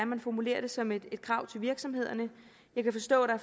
man formulerer det som et krav til virksomhederne jeg kan forstå at